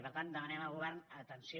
i per tant demanem al govern atenció